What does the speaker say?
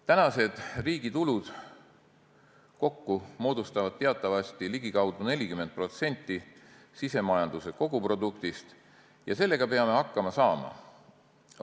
Tänased riigi tulud kokku moodustavad teatavasti ligikaudu 40% sisemajanduse koguproduktist ja sellega peame hakkama saama.